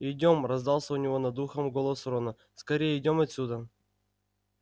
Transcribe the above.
идём раздался у него над ухом голос рона скорее идём отсюда